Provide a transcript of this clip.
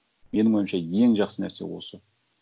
менің ойымша ең жақсы нәрсе осы